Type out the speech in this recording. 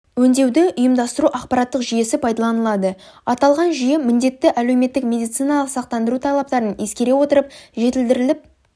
өңдеуді ұйымдастыру ақпараттық жүйесі пайдаланылады аталған жүйе міндетті әлеуметтік медициналық сақтандыру талаптарын ескере отырып жетілдіріліп